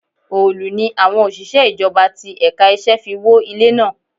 Òòlù ni àwọn òṣìṣẹ́ ìjọba ti ẹ̀ka iṣẹ́ fi wó ilé náà.